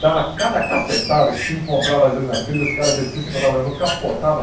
Dava cada cacetada que se encontrava às vezes nas trilhas, os caras desciam, se encontravam mesmo e capotavam.